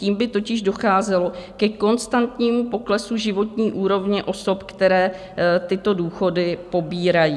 Tím by totiž docházelo ke konstantnímu poklesu životní úrovně osob, které tyto důchody pobírají.